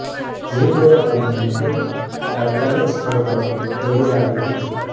જીવદયા પ્રેમીની ટીમ તાત્કાલિક સ્થળ પર દોડી આવી હતી